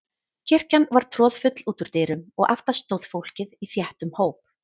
Kirkjan var troðfull út úr dyrum og aftast stóð fólkið í þéttum hóp.